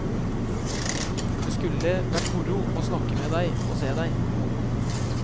Det skulle hvert moro å snakke med deg og se deg.